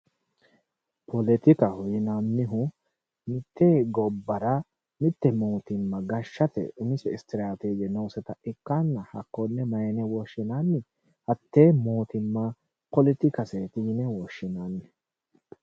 Poletikkaho yinnannihu mitte gobbara mite mootimma gashaate umise istirateje noosetta ikkittanna hakkone mayine woshshinanni hatte mootimma poletikaseti yinne woshshinanni.